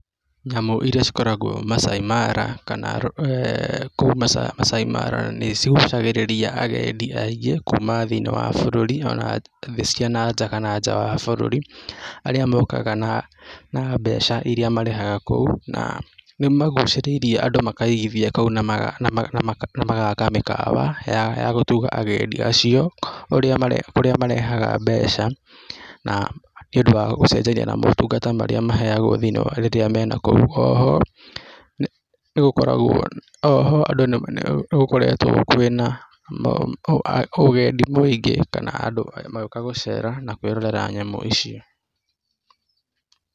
Nyamũ iria cikoragwo Maasai Mara kana kũu Maasai Mara nĩcigucagĩrĩria agendi aingĩ kuma thĩ-inĩ wa bũrũri o na thĩ cia na nja kana nja wa bũrũri, aria mokaga na mbeca iria marehaga kou, na nĩ magucĩrĩirie andũ makaigithia kũu, na magaka mĩkawa ya gũtuga agendi acio, ĩrĩa marehaga mbeca na nĩũndũ wa gũcenjania na motungata marĩa maheagwo rĩrĩa me na kũu. O ho nĩgũkoretwo kwĩna ũgendi mũingĩ kana andũ magĩũka gũcera na kwĩrorera nyamũ icio.